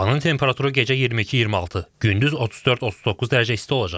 Havanın temperaturu gecə 22-26, gündüz 34-39 dərəcə isti olacaq.